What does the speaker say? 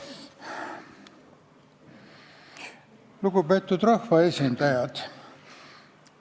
Lugupeetud rahvaesindajad!